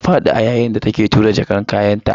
Ta fadi a yayin da take tura jakar kayanta.